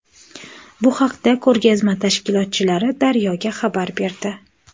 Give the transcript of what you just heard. Bu haqda ko‘rgazma tashkilotchilari Daryo‘ga xabar berdi.